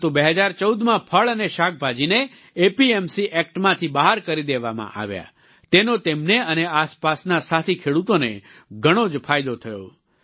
પરંતુ 2014માં ફળ અને શાકભાજીને એપીએમસી એક્ટમાંથી બહાર કરી દેવામાં આવ્યા તેનો તેમને અને આસપાસના સાથી ખેડૂતોને ઘણો જ ફાયદો થયો